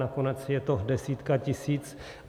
Nakonec je to desítka tisíc.